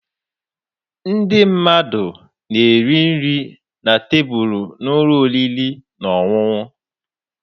Ndị mmadụ na-eri nri na tebụlụ n'ụlọ oriri na ọṅụṅụ.